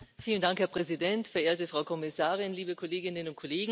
Herr Präsident, verehrte Frau Kommissarin, liebe Kolleginnen und Kollegen!